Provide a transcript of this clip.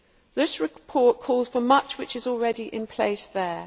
This report calls for much which is already in place there.